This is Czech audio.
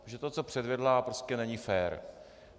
Protože to, co předvedla, prostě není fér.